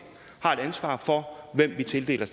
har et ansvar for hvem vi tildeler